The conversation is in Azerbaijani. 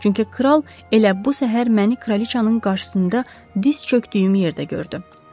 Çünki kral elə bu səhər məni kraliçanın qarşısında diz çökdüyüm yerdə gördü.